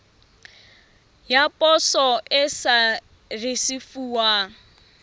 ya poso e sa risefuwang